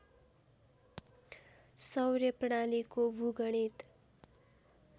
सौर्य प्रणालीको भूगणित